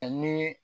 Ani